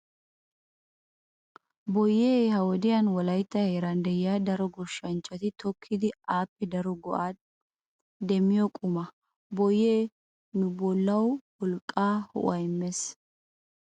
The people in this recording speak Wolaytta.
Boyyee ha wodiyan Wolaytta heeran de'iya daro goshshanchati tokkidi appe daro go'aa demmiyo quma. Boyyee nu bollawu wolqqaanne ho'uwaa immees.